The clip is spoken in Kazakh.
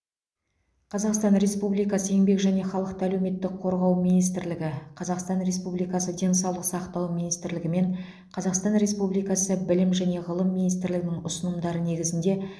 қазақстан республикасы еңбек және халықты әлеуметтік қорғау министрлігі қазақстан республикасы денсаулық сақтау министрлігі мен қазақстан республикасы білім және ғылым министрлігінің ұсынымдары негізінде